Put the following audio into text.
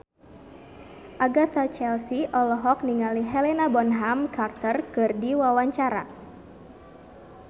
Agatha Chelsea olohok ningali Helena Bonham Carter keur diwawancara